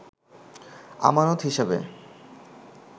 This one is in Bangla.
আমানত হিসাবে